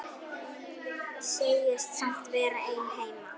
Segist samt vera einn heima.